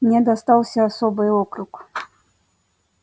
мне достался особый округ